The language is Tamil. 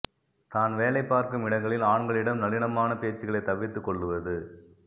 தான் வேலை பார்க்கும் இடங்களில் ஆண்களிடம் நளினமான பேச்சுகளை தவிர்த்து கொள்ளுவது